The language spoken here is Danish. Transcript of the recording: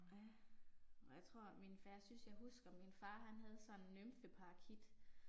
Ja. Jeg tror min for jeg synes jeg husker min far han havde sådan en nymfeparakit